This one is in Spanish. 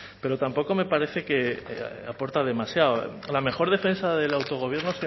pero tampoco me parece que aporta demasiado la mejor defensa del autogobierno